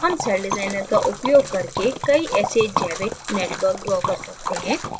हम celldesigner का उपयोग करके कई ऐसे जैविक networks draw कर सकते हैं